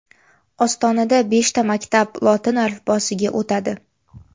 Ostonada beshta maktab lotin alifbosiga o‘tadi.